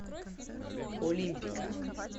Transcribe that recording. олимпика